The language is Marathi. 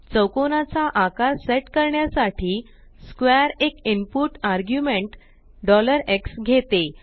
चौकोना चा आकार सेट करण्यासाठी स्क्वेअर एक इनपुट आर्ग्युमेंट x घेते